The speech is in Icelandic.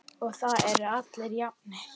Og þá eru allir jafnir.